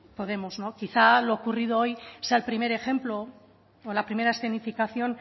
podemos quizá lo ocurrido hoy sea el primer ejemplo o la primera escenificación